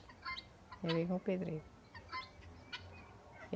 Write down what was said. Já veio com o pedreiro.